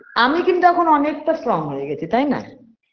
আমি কিন্তু এখন অনেকটা strong হয়ে গেছি তাই না